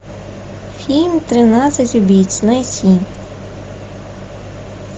фильм тринадцать убийц найти